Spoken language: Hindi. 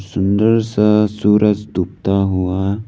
सुंदर सा सूरज डूबता हुआ--